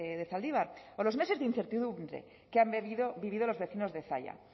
de zaldibar o los meses de incertidumbre que han vivido los vecinos de zalla